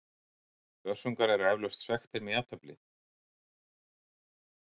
Börsungar eru eflaust svekktir með jafnteflið.